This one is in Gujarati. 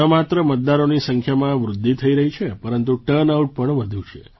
દેશમાં ન માત્ર મતદારોની સંખ્યામાં વૃદ્ધિ થઈ છે પરંતુ ટર્નઆઉટ પણ વધ્યું છે